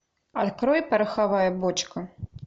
открой пороховая бочка